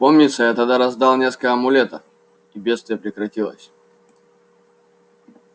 помнится я тогда раздал несколько амулетов и бедствие прекратилось